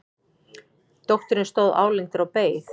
Dóttirin stóð álengdar og beið.